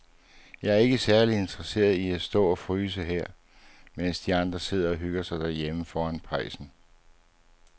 Jeg er ikke særlig interesseret i at stå og fryse her, mens de andre sidder og hygger sig derhjemme foran pejsen.